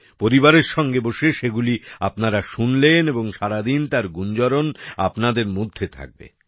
পরিবারের সঙ্গে বসে সেগুলি আপনারা শুনলেন এবং সারাদিন তার গুঞ্জরণ আপনাদের মধ্যে থাকবে